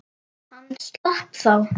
Hann slapp þá.